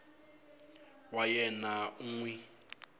wa yena u n wi